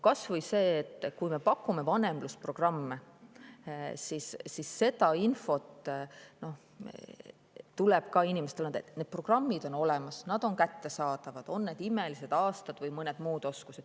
Kas või see, et kui me pakume vanemlusprogramme, siis seda infot tuleb ka inimestele anda, et need programmid on olemas, need on kättesaadavad, olgu "Imelised aastad" või mõni muu.